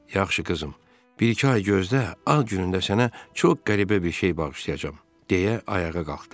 Yaxşı qızım, bir-iki ay gözlə, ad günündə sənə çox qəribə bir şey bağışlayacağam, deyə ayağa qalxdı.